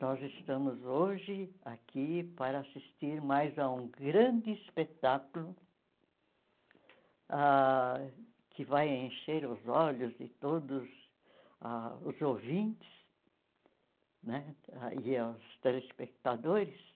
Nós estamos hoje aqui para assistir mais a um grande espetáculo ah que vai encher os olhos de todos ah os ouvintes né ah e aos telespectadores.